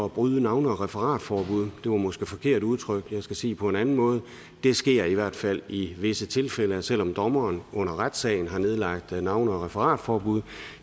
bryde navne og referatforbud det var måske forkert udtrykt jeg skal sige det på en anden måde det sker i hvert fald i visse tilfælde selv om dommeren under retssagen har nedlagt navne og referatforbud